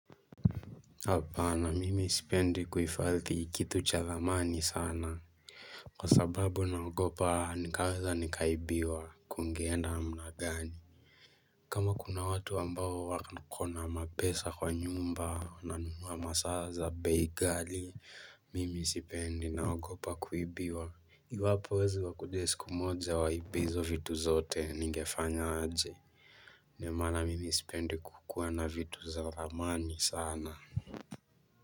Hapana mimi sipendi kuifadhi kitu cha lamani sana. Kwa sababu naogopa nikaweza nikaibiwa kungeenda namna gani. Kama kuna watu ambao wakona kona mapesa kwa nyumba wananunua masaa za bei ghali, mimi sipendi naogopa kuibiwa. Iwapo wezi wakuje siku moja waibe izo vitu zote ningefanya aje. Ndio maana mimi sipendi kukuwa na vitu za thamani sana.